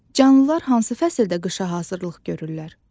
Canlılar hansı fəsildə qışa hazırlıq görürlər?